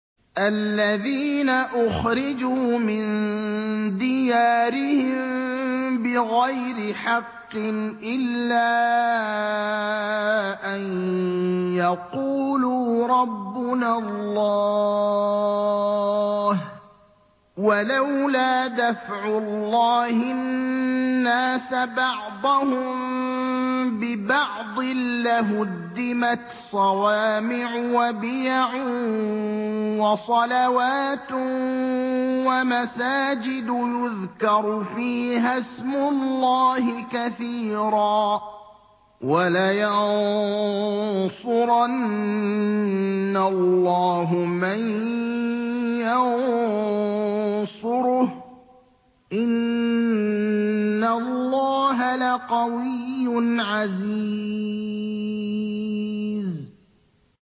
الَّذِينَ أُخْرِجُوا مِن دِيَارِهِم بِغَيْرِ حَقٍّ إِلَّا أَن يَقُولُوا رَبُّنَا اللَّهُ ۗ وَلَوْلَا دَفْعُ اللَّهِ النَّاسَ بَعْضَهُم بِبَعْضٍ لَّهُدِّمَتْ صَوَامِعُ وَبِيَعٌ وَصَلَوَاتٌ وَمَسَاجِدُ يُذْكَرُ فِيهَا اسْمُ اللَّهِ كَثِيرًا ۗ وَلَيَنصُرَنَّ اللَّهُ مَن يَنصُرُهُ ۗ إِنَّ اللَّهَ لَقَوِيٌّ عَزِيزٌ